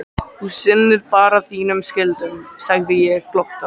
Þú sinnir bara þínum skyldum, segði ég þá glottandi.